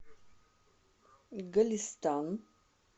голестан